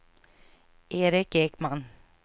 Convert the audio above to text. Eric Ekman